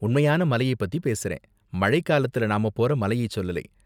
உண்மையான மலையை பத்தி பேசுறேன், மழை காலத்துல நாம போற மலையை சொல்லலை.